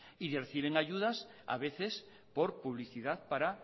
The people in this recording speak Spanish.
y reciben ayudas a veces por publicidad para